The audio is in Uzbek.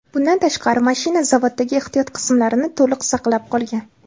Bundan tashqari, mashina zavoddagi ehtiyot qismlarini to‘liq saqlab qolgan.